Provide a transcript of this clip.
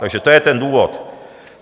Takže to je ten důvod.